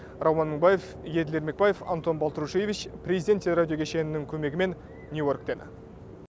рауан мыңбаев еділ ермекбаев антон болтрушевич президент теле радио кешенінің көмегімен нью йорктен